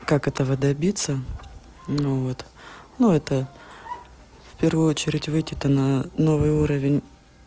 как этого добиться ну вот ну это в первую очередь выйти на новый уровень